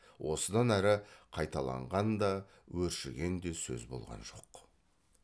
осыдан әрі қайталаған да өршіген де сөз болған жоқ